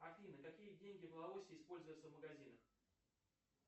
афина какие деньги в лаосе используются в магазинах